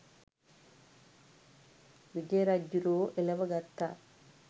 විජය රජ්ජුරුවෝ එලව ගත්තා.